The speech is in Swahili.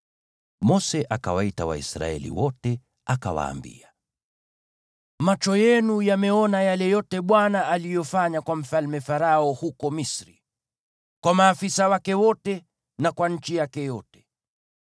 Mose akawaita Waisraeli wote akawaambia: Macho yenu yameona yale yote Bwana aliyofanya kwa Mfalme Farao huko Misri, kwa maafisa wake wote na kwa nchi yake yote.